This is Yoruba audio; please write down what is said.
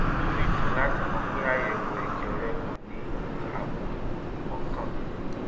inú mi dùn láti mọ̀ pé àyẹ̀wò ẹ̀jẹ̀ rẹ kò ní àbùkù um kankan